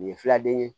Nin ye filaden ye